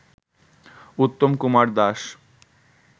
Uttam Kumar Das